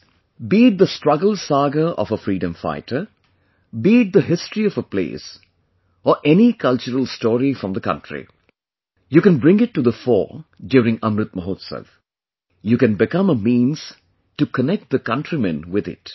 Friends, be it the struggle saga of a freedom fighter; be it the history of a place or any cultural story from the country, you can bring it to the fore during Amrit Mahotsav; you can become a means to connect the countrymen with it